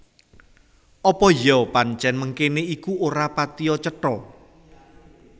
Apa iya pancèn mengkéné iku ora patiya cetha